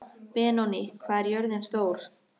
Benóný, hvað er jörðin stór?